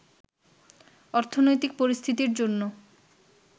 অর্থনৈতিক পরিস্থিতির জন্য